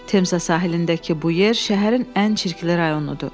Temza sahilindəki bu yer şəhərin ən çirkli rayonudur.